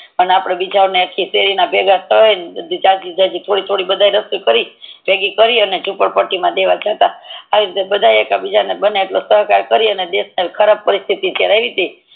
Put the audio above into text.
અને અપડે બીજા ખિચડી ભેગા કરીને જાજી જાજી બધા એકઠી કરી ભેગી કરીન જુપડ પટ્ટી મા દેવ જતાં એક બીજા નો સહકાર બની દેશ ની જે ખરાબ પરિસ્થિતિ બની તી